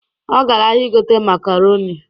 Ọ gara ahịa ịgote makaronị